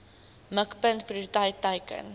mikpunt prioriteit teiken